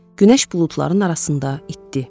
Günəş buludların arasında itdi.